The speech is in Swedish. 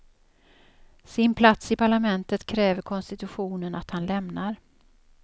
Sin plats i parlamentet kräver konstitutionen att han lämnar.